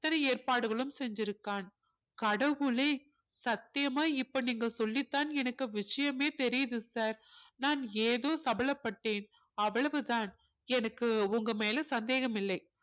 இத்தனை ஏற்பாடுகளும் செஞ்சிருக்கான் கடவுளே சத்தியமா இப்ப நீங்க சொல்லித்தான் எனக்கு விஷயமே தெரியுது sir நான் ஏதோ சபலப்பட்டேன் அவ்வளவுதான் எனக்கு உங்க மேல சந்தேகம் இல்லை